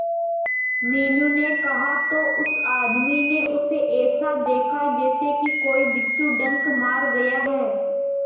मीनू ने कहा तो उस आदमी ने उसे ऐसा देखा जैसे कि कोई बिच्छू डंक मार गया है